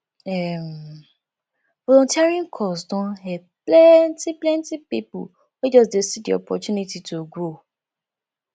um volunteering cause don help plenty plenty people wey just see di opportunity to grow